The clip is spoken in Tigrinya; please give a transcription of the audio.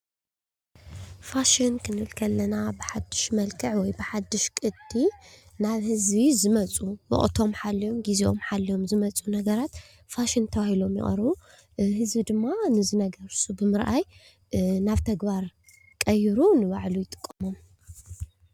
ፋሽን ክንብል ከለና በሓዱሽ መልክዕ ወይ ድማ በሓዱሽ ቅዲ ናብ ህዝቢ ዝመፁ ወቅቶም ሓልዮም ግዚኦም ሓልዮም ዝመፁ ነገራት ፋሽን ተበሂሎም ይቀርቡ፡፡ ህዝቢ ድማ እዚ ነገር ንሱ ብምርኣይ ናብ ተግባር ቀይሩ ንባዕሉ ይጥቀመሉ፡፡